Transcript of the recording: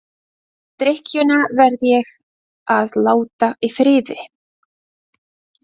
En drykkjuna verð ég að láta í friði.